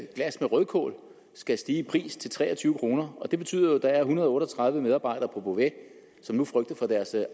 glas med rødkål skal stige i pris til tre og tyve kroner det betyder jo at der er en hundrede og otte og tredive medarbejdere på beauvais som nu frygter for deres